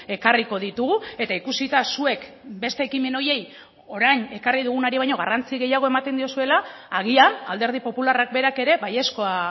ekarriko ditugu eta ikusita zuek beste ekimen horiei orain ekarri dugunari baino garrantzi gehiago ematen diozuela agian alderdi popularrak berak ere baiezkoa